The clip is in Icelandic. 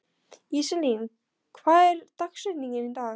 Íselín, hver er dagsetningin í dag?